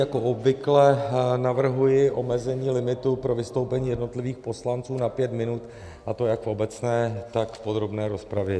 Jako obvykle navrhuji omezení limitu pro vystoupení jednotlivých poslanců na pět minut, a to jak v obecné, tak v podrobné rozpravě.